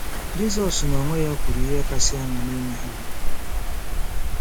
Jizọs n'onwe ya kwuru ihe kasị ama n'ime ha.